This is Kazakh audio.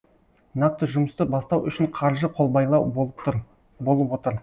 нақты жұмысты бастау үшін қаржы қолбайлау болып отыр